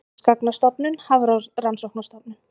Námsgagnastofnun- Hafrannsóknastofnun.